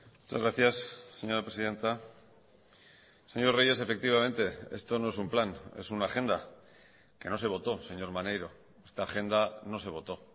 muchas gracias señora presidenta señor reyes efectivamente esto no es un plan es una agenda que no se votó señor maneiro esta agenda no se votó